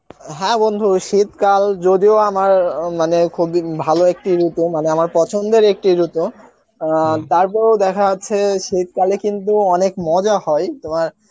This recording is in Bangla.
হ্যাঁ বন্ধু, শীতকাল যদিও আমার মানে খুবই ভালো একটি ঋতু মানে আমার পছন্দের একটি ঋতু তারপরেও দেখা যাচ্ছে শীতকালে কিন্তু অনেক মজা হয়, তোমার